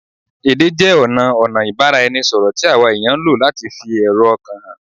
Èdè jẹ ọna ọ̀nà ìbáraẹnisọ̀rọ̀ tí àwa èèyàn ń lò láti fi èrò ọkàn hàn